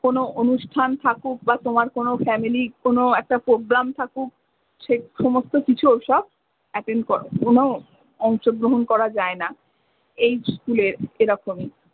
কোনো অনুষ্ঠান থাকুক বা তোমার কোনো family কোনো একটা programme থাকুক। সে সমস্ত কিছু ওসব attend করো, কোনো অংশ গ্রহণ করা যায় না। এই school এর এরকমই।